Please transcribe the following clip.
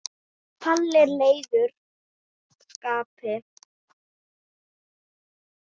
Palli er í leiðu skapi.